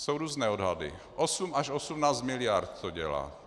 Jsou různé odhady, 8 až 18 miliard to dělá.